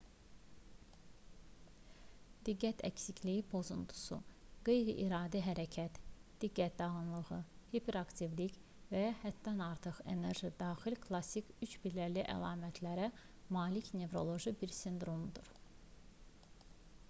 diqqət əksikliyi pozuntusu qeyri-iradi hərəkət diqqət dağınıqlığı hiperaktivlik və ya həddən artıq enerji daxil klassik üçpilləli əlamətlərə malik nevroloji bir sindromdur